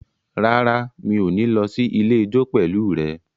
Rárá, mi ò ní lọ sí ilé ijó pẹ̀lú rẹ